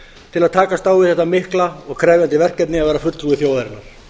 til að takast á við þetta mikla og krefjandi verkefni að vera fulltrúi þjóðarinnar